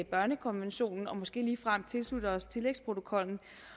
børnekonventionen og måske ligefrem tilslutter os tillægsprotokoller